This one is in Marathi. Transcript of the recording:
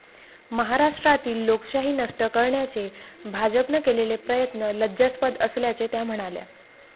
महाराष्ट्रातील लोकशाही नष्ट करण्याचे भाजपने केलेले प्रयत्न लज्जास्पद असल्याचे त्या म्हणाल्या.